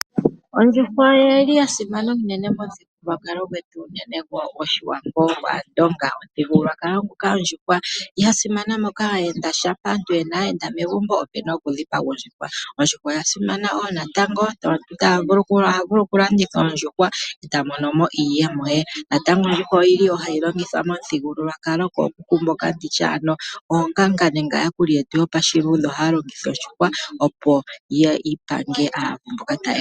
Ondjuhwa oya simana unene momuthigululwakalo gwetu gwAandonga. Oya simana oshoka uuna pena aayenda oyo hayi dhipagwa. Oya simana wo natango oshoka omuntu oha vulu okuyi landitha eta mono iiyemo ye. Momuthigululwakalo oyili wo hayi longithwa oonganga ohaya longitha ondjuhwa, opo ya pange aavu.